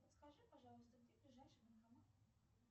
подскажи пожалуйста где ближайший банкомат